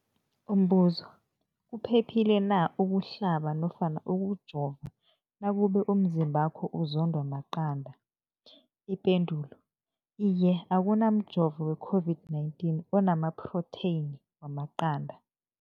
Umbuzo, kuphephile na ukuhlaba nofana ukujova nakube umzimbakho uzondwa maqanda. Ipendulo, Iye. Akuna mjovo we-COVID-19 ona maphrotheyini wamaqanda.